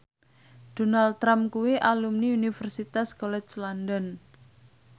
Donald Trump kuwi alumni Universitas College London